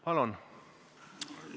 Palun!